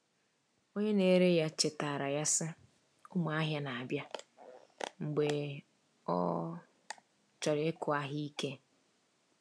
Onye na-ere ya chetaara ya, sị, “Ụmụ ahịa na-abịa,” mgbe ọ chọrọ ịkụ ahịa ike.